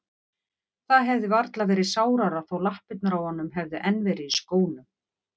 Það hefði varla verið sárara þó lappirnar á honum hefðu enn verið í skónum.